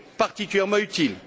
particulièrement utile.